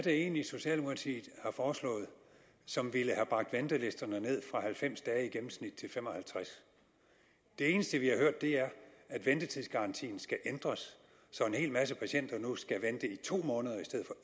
egentlig socialdemokratiet har foreslået som ville have bragt ventelisterne ned fra halvfems dage i gennemsnit til 55 det eneste vi har hørt er at ventetidsgarantien skal ændres så en hel masse patienter nu skal vente i to måneder